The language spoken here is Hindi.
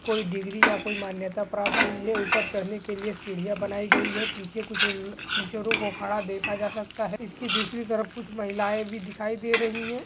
कोई डिग्री या कोई मान्यता प्राप्त हुई है ऊपर चढ़ने के लिए सीढ़ियां बनाई गयी है और पीछे कुछ अ- टीचरों को खड़ा देखा जा सकते है इसकी दूसरी तरफ कुछ महिलाएं भी दिखाई दे रही है।